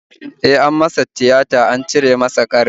E, an masa tiyata an cire mishi ƙarin